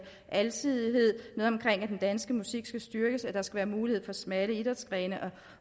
alsidighed noget omkring at den danske musik skal styrkes at der skal være mulighed for smalle idrætsgrene